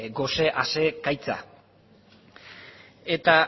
gose asegaitza eta